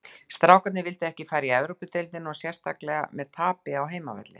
Strákarnir vildu ekki fara í Evrópudeildina og sérstaklega með tapi á heimavelli.